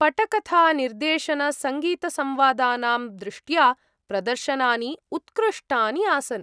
पटकथानिर्देशनसङ्गीतसंवादानां दृष्ट्या प्रदर्शनानि उत्कृष्टानि आसन् ।